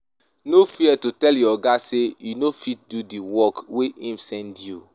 No fear to tell your oga sey you no fit do di work wey im send you.